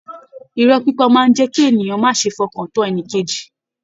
Ìrọ́ pípa máa n jẹ kí ènìyàn má ṣe f'ọkan tán ẹnìkejì.